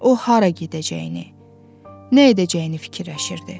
O hara gedəcəyini, nə edəcəyini fikirləşirdi.